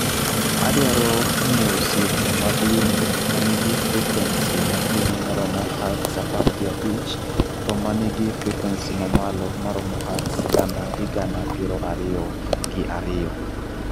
2Zepa Adwaro nyiewo simu mag winjo ma nigi frekwensi ma piny ma romo hertz apar gi abich to ma nigi frekwensi mamalo ma romo hertz gana gi gana piero ariyo gi ariyo